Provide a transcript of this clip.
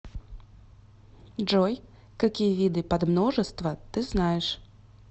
джой какие виды подмножество ты знаешь